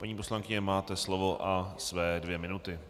Paní poslankyně, máte slovo a své dvě minuty.